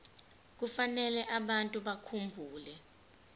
kufanele abantu bakhumbule